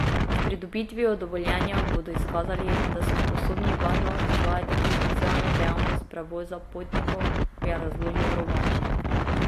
S pridobitvijo dovoljenja bodo izkazali, da so sposobni varno izvajati komercialno dejavnost prevoza potnikov, je razložil Rovanšek.